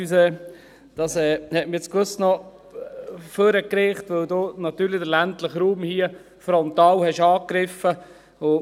Dies hat mich nach vorne getrieben, weil sie den ländlichen Raum frontal angegriffen hat.